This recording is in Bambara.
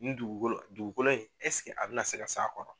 Ni dugukolo dugukolo in eseke a bɛ na se ka s'a kɔrɔ?